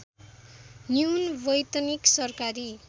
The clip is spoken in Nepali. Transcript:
न्यून वैतनिक सरकारी